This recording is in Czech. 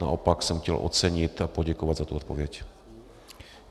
Naopak jsem chtěl ocenit a poděkovat za tu odpověď.